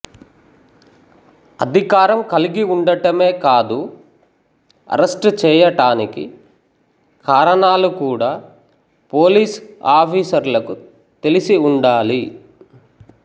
అధికారం కలిగి ఉండటమే కాదు అరెస్టు చేయటానికి కారణాలు కూడా పోలీసు ఆఫీసర్లకు తెలిసి ఉండాలి